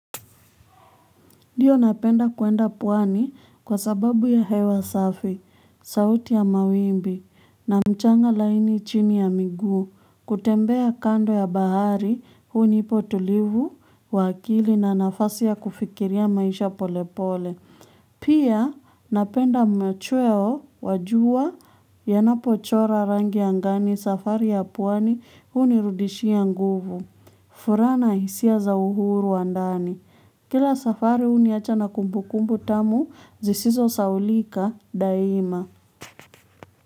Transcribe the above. Ndio napenda kwenda pwani kwa sababu ya hewa safi, sauti ya mawimbi, na mchanga laini chini ya miguu, kutembea kando ya bahari, hunipa utulivu, wa akili na nafasi ya kufikiria maisha pole pole. Pia napenda mmechweo wajua yanapo chora rangi angani safari ya pwwani hunirudishia nguvu. Furaha na hisia za uhuru wa ndani. Kila safari huniacha na kumbu kumbu tamu zisizosahaulika daima.